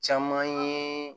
Caman ye